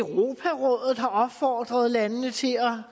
europarådet har opfordret landene til at